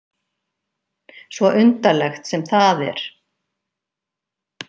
Svo undarlegt sem það er.